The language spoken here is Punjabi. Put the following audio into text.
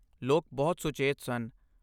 ਲੋਕ ਬਹੁਤ ਸੁਚੇਤ ਸਨ।